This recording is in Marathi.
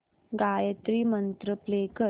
गायत्री मंत्र प्ले कर